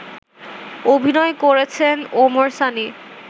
অভিনয় করেছেন ওমর সানি